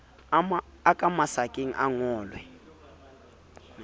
a ka masakaneng a ngolwe